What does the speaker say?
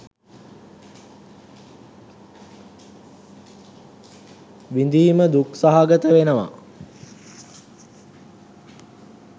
විඳීම දුක් සහගත වෙනවා.